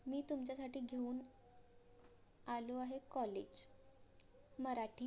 मी तुमच्यासाठी घेऊन आलो आहे COLLAGE मराठी